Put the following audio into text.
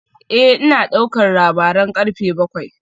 Eh ina daukar labaran karfe bakwai